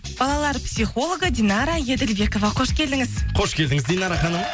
балалар психологы динара еділбекова қош келдіңіз қош келдіңіз динара ханым